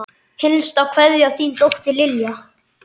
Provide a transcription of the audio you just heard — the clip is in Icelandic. Hinsta kveðja, þín dóttir, Lilja.